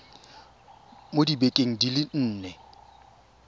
mo dibekeng di le nne